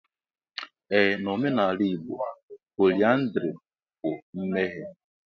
Ee na omenala Igbo, pọlyndrị bụ mmehie.